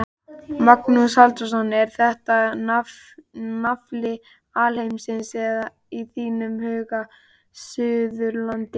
Magnús Halldórsson: Er þetta nafli alheimsins í þínum huga, Suðurlandið?